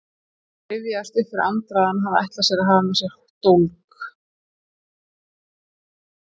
Rifjaðist upp fyrir Andra að hann hafði ætlað að hafa með sér dólk.